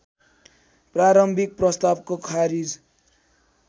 प्रारम्भिक प्रस्तावको खारिज